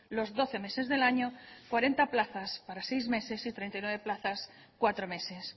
los doce meses del año cuarenta plazas para seis meses y treinta y nueve plazas cuatro meses